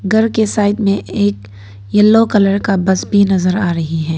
घर के साइड में एक येलो कलर का बस भी नजर आ रही है।